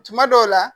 Tuma dɔw la